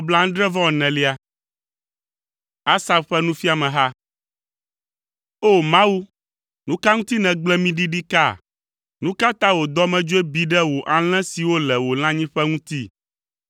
Asaf ƒe nufiameha. O! Mawu, nu ka ŋuti nègble mí ɖi ɖikaa? Nu ka ta wò dɔmedzoe bi ɖe wò alẽ siwo le wò lãnyiƒe ŋuti?